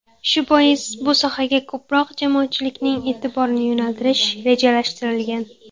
Shu bois bu sohaga ko‘proq jamoatchilikning e’tiborini yo‘naltirish rejalashtirilgan.